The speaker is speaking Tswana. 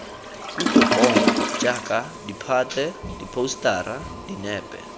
kutlopono jaaka ditphate diphousetara dinepe